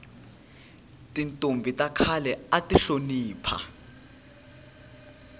tintombhi ta khale ati hlonipha